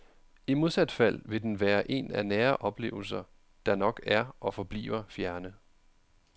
I modsat fald vil den være en af nære oplevelser, der nok er og forbliver fjerne.